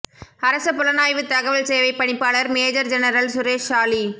அரச புலனாய்வு தகவல் சேவை பணிப்பாளர் மேஜர் ஜெனரல் சுரேஷ் சாலி